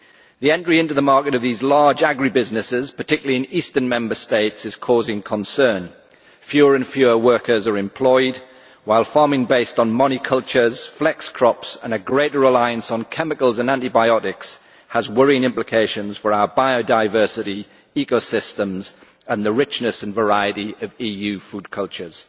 The entry into the market of these large agri businesses, particularly in eastern Member States, is causing concern. Fewer and fewer workers are employed, while farming based on monocultures, flex crops and a greater reliance on chemicals and antibiotics has worrying implications for our biodiversity, ecosystems and the richness and variety of EU food cultures.